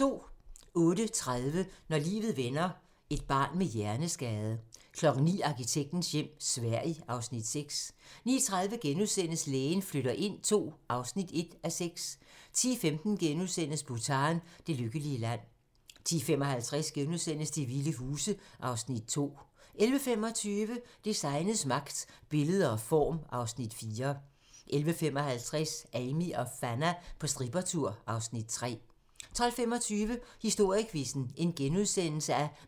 08:30: Når livet vender: Et barn med hjerneskade 09:00: Arkitektens hjem - Sverige (Afs. 6) 09:30: Lægen flytter ind II (1:6)* 10:15: Bhutan: Det lykkelige land * 10:55: De vilde huse (Afs. 2)* 11:25: Designets magt - Billede og form (Afs. 4) 11:55: Amie og Fanna på strippertur (Afs. 3) 12:25: Historiequizzen: